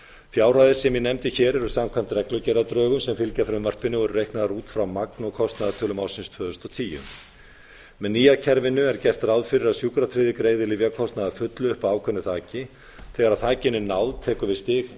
fjárhæðir sem ég nefndi hér eru samkvæmt reglugerðardrögum sem fylgja frumvarpinu og eru reiknaðar út frá magn og kostnaðartölum ársins tvö þúsund og tíu með nýja kerfinu er gert ráð fyrir að sjúkratryggðir greiði lyfjakostnað að feli upp að ákveðnu þaki þegar þakinu er náð tekur